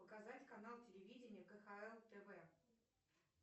показать канал телевидения кхл тв